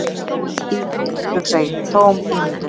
Ímyndun, hugsa ég, tóm ímyndun.